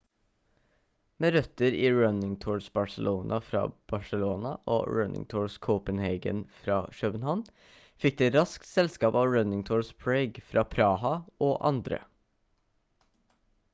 med røtter i running tours barcelona fra barcelona og running tours copenhagen fra københavn fikk det raskt selskap av running tours prague fra praha og andre